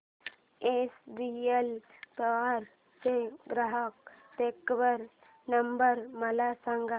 HBL power चा ग्राहक देखभाल नंबर मला सांगा